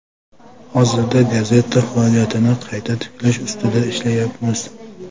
Hozirda gazeta faoliyatini qayta tiklash ustida ishlayapmiz.